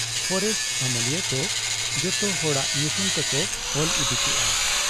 Forest ᱟᱹᱢᱟᱹᱞᱤᱠᱚ ᱡᱚᱛᱚ ᱦᱚᱲᱟᱜ ᱧᱩᱛᱩᱢ ᱛᱮᱠᱚ ᱚᱞ ᱤᱫᱤ ᱠᱮᱜ ᱟ ᱾